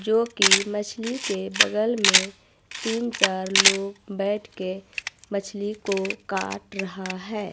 जो की मछली के बगल में तीन चार लोग बैठ के मछली को काट रहा है।